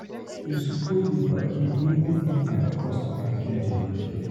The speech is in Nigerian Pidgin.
You suppose dey bargain even if na your customer get di market.